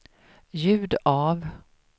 ljud av